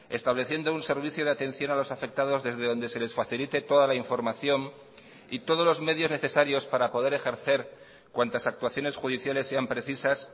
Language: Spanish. estableciendo un servicio de atención a los afectados desde donde se les facilite toda la información y todos los medios necesarios para poder ejercer cuantas actuaciones judiciales sean precisas